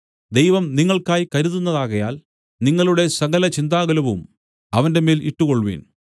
ദൈവം നിങ്ങൾക്കായി കരുതുന്നതാകയാൽ നിങ്ങളുടെ സകല ചിന്താകുലവും അവന്റെമേൽ ഇട്ടുകൊൾവിൻ